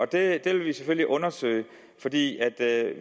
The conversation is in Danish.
det vil vi selvfølgelig undersøge fordi